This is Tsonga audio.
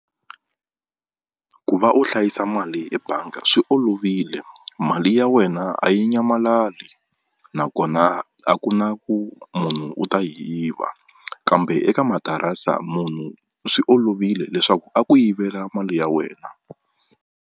Ku va u hlayisa mali ebanga swi olovile mali ya wena a yi nyamalali nakona a ku na ku munhu u ta yi yiva kambe eka matirase munhu swi olovile leswaku a ku yivela mali ya wena.